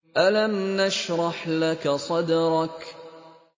أَلَمْ نَشْرَحْ لَكَ صَدْرَكَ